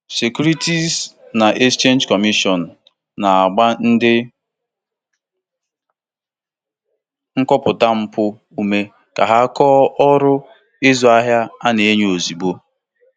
Netwọk ndị na-ahụ maka mpụ ego na-akwadosi ike ka a ka a na akọpụta azụmahịa ndị a na-enyo enyo ozugbo n'ịntanetị.